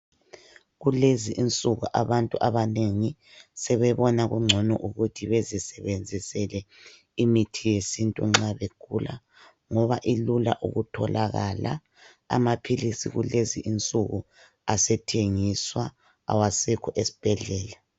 Kulezi insuku abantu abanengi sebebona kungcono ukuthi bezisebenzisele imithi yesintu nxa begula ngoba ilula ukutholakala. Amaphilisi kulezi insuku asethengiswa awasekho esibhedlela.